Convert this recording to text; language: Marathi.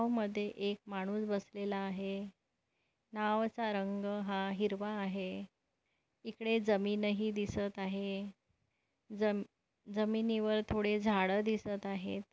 नावमद्धे एक माणूस बसलेला आहे नावचा रग हा हिरवा आहे इकडे जमीन ही दिसत आहे जम जमीनवर थोड़े झाड़ दिसत आहे.